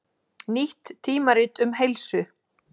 Nýtt tímarit um heilsu